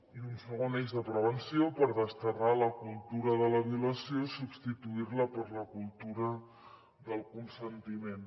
i un segon eix de prevenció per desterrar la cultura de la violació i substituir la per la cultura del consentiment